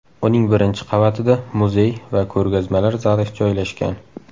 Uning birinchi qavatida muzey va ko‘rgazmalar zali joylashgan.